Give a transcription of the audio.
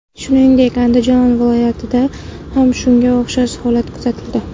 Shuningdek, Andijon vilyatida ham shunga o‘xshash holat kuzatildi.